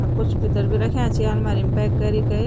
अर कुछ भितर बि रख्यां छि आलमारी म पैक करि कै।